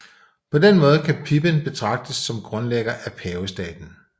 På den måde kan Pipin betragtes som grundlægger af pavestaten